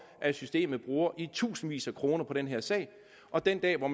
at systemet bruger i tusindvis af kroner på den her sag og den dag hvor